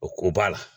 O ko b'a la